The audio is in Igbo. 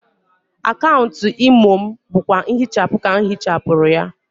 Akaunt Imo m bụkwa nhịchapụ ka m hịchapụrụ ya.